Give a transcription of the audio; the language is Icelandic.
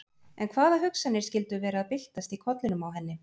En hvaða hugsanir skyldu vera að byltast í kollinum á henni?